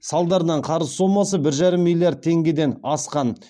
салдарынан қарыз сомасы бір жарым миллиард теңгеден асқан